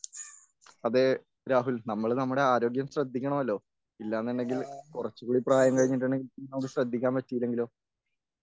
അതെ രാഹുൽ നമ്മൾ നമ്മുടെ ആരോഗ്യം ശ്രദ്ധിക്കണമല്ലോ ഇല്ലാന്നുണ്ടെങ്കിൽ കുറച്ചുകൂടി പ്രായം കഴിഞ്ഞിട്ടുണ്ടെങ്കിൽ നമുക്ക് ശ്രദ്ധിക്കാൻ പറ്റിയില്ലെങ്കിലോ?